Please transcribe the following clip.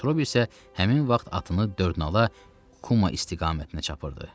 Metrobi isə həmin vaxt atını dördnala Kuma istiqamətinə çatırdı.